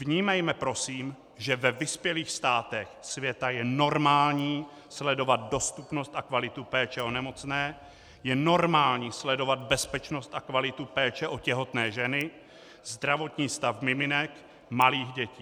Vnímejme prosím, že ve vyspělých státech světa je normální sledovat dostupnost a kvalitu péče o nemocné, je normální sledovat bezpečnost a kvalitu péče o těhotné ženy, zdravotní stav miminek, malých dětí.